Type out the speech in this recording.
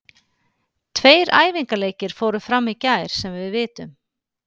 Tveir æfingaleikir fóru fram í gær sem við vitum.